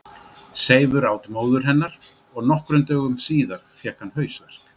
seifur át móður hennar og nokkrum dögum síðar fékk hann hausverk